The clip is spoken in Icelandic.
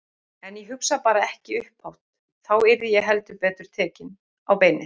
En ég hugsa bara ekki upphátt Þá yrði ég heldur betur takin á beinið.